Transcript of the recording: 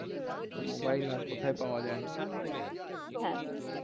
তো মোবাইল আর কোথায় পাওয়া যায়? দোকানে